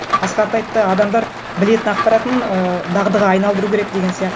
асқат айтты адамдар білетін ақпаратын ыыы дағдыға айналдыру керек деген